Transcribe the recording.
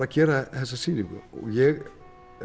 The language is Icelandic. að gera þessa sýningu ég